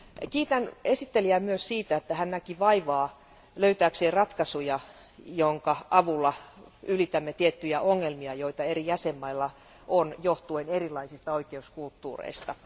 Kiitän esittelijää myös siitä, että hän näki vaivaa löytääkseen ratkaisuja, joiden avulla ylitämme tiettyjä ongelmia, joita eri jäsenvaltioilla on erilaisten oikeuskulttuurien vuoksi.